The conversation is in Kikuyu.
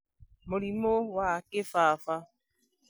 Mũrimũ wa kĩbaba;